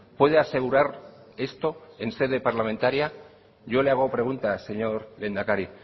puede asegurar esto en sede parlamentaria yo le hago preguntas señor lehendakari